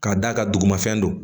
K'a d'a ka dugu ma fɛn don